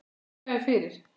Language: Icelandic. Þakka þér fyrir